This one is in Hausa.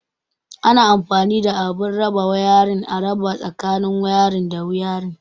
Ana anfani da abun raba wayarin, a raba tsakanin wayarin da wayarin.